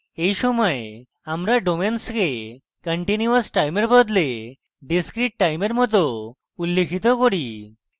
এই সময় আমরা ডোমেনকে continuous time এর বদলে discrete time এর মত উল্লিখিত করি